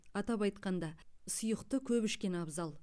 атап айтқанда сұйықты көп ішкен абзал